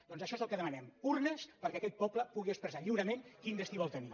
doncs això és el que demanem urnes perquè aquest poble pugui ex·pressar lliurement quin destí vol tenir